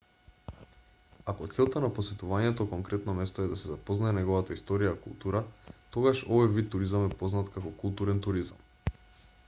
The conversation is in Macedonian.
ако целта на посетувањето конкретно место е да се запознае неговата историја и култура тогаш овој вид туризам е познат како културен туризам